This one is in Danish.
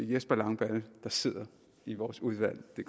jesper langballe der sidder i vores udvalg det